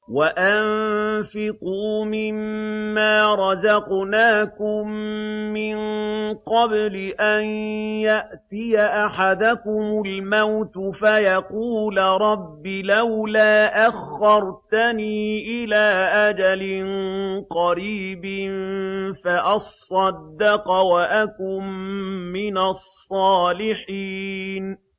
وَأَنفِقُوا مِن مَّا رَزَقْنَاكُم مِّن قَبْلِ أَن يَأْتِيَ أَحَدَكُمُ الْمَوْتُ فَيَقُولَ رَبِّ لَوْلَا أَخَّرْتَنِي إِلَىٰ أَجَلٍ قَرِيبٍ فَأَصَّدَّقَ وَأَكُن مِّنَ الصَّالِحِينَ